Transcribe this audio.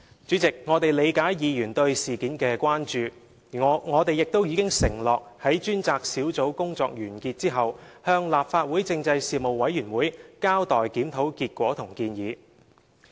主席，我們理解議員對事件的關注，而我們亦已承諾在專責小組工作完結後，向事務委員會交代檢討結果和建議。